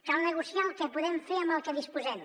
cal negociar el que podem fer amb el que disposem